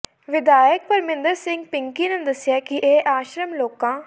ਵਿਧਾਇਕ ਪਰਮਿੰਦਰ ਸਿੰਘ ਪਿੰਕੀ ਨੇ ਦੱਸਿਆ ਕਿ ਇਹ ਆਸ਼ਰਮ ਲੋਕਾਂ